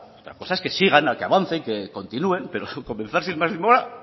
otra cosa es que sigan que avancen que continúen pero comenzar sin más demora